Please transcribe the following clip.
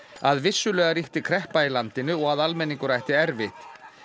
að vissulega ríkti kreppa í landinu og að almenningur ætti erfitt